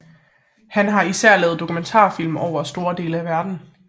Han har især lavet dokumentarfilm over store dele af verden